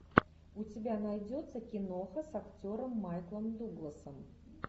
у тебя найдется киноха с актером майклом дугласом